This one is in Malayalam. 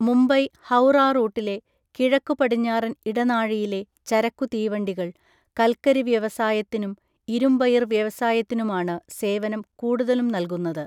മുംബൈ ഹൗറാറൂട്ടിലെ കിഴക്കുപടിഞ്ഞാറൻ ഇടനാഴിയിലെ ചരക്കുതീവണ്ടികൾ, കൽക്കരി വ്യവസായത്തിനും, ഇരുമ്പയിർ വ്യവസായത്തിനുമാണ് സേവനം കൂടുതലും നൽകുന്നത്.